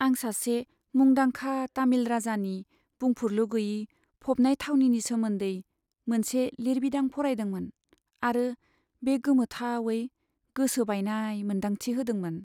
आं सासे मुंदांखा तामिल राजानि बुंफुरलु गैयै फबनाय थावनिनि सोमोन्दै मोनसे लिरबिदां फरायदोंमोन आरो बे गोमोथावै गोसो बायनाय मोनदांथि होदोंमोन।